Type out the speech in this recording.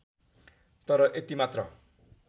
तर यति मात्र